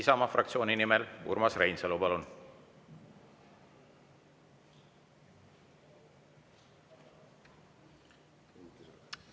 Isamaa fraktsiooni nimel Urmas Reinsalu, palun!